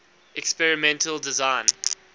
experimental design